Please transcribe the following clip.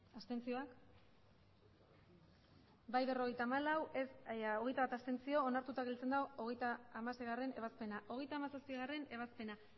abstenzioak emandako botoak hirurogeita hamabost bai berrogeita hamalau abstentzioak hogeita bat onartuta gelditzen da hogeita hamaseigarrena ebazpena hogeita hamazazpigarrena ebazpena